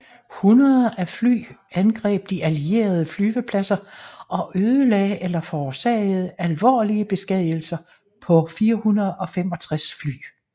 Hundreder af fly angreb de allierede flyvepladser og ødelagde eller forårsagede alvorlige beskadigelser på 465 fly